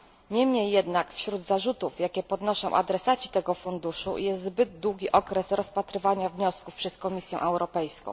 Niemniej jednak wśród zarzutów, jakie podnoszą adresaci tego funduszu, jest zbyt długi okres rozpatrywania wniosków przez Komisję Europejską.